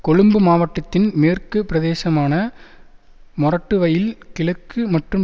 கொழும்பு மாவட்டத்தின் மேற்கு பிரதேசமான மொரட்டுவையில் கிழக்கு மற்றும்